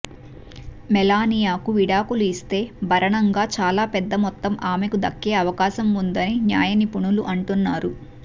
మెలానియాకు విడాకులు ఇస్తే భరణంగా చాలా పెద్ద మొత్తం ఆమెకు దక్కే అవకాశం వుందని న్యాయ నిపుణులు అంటున్నారు